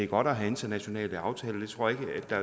godt at have internationale aftaler det tror jeg ikke der